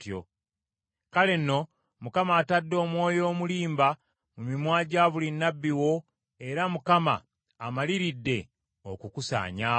“Kale nno, Mukama atadde omwoyo omulimba mu mimwa gya buli nnabbi wo era Mukama amaliridde okukusaanyaawo.”